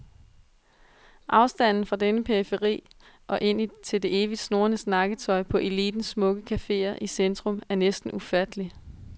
Afstanden fra denne periferi og ind til det evigt snurrende snakketøj på elitens smukke caféer i centrum er næsten ufattelig.